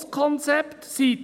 Das] Konzept Wolf […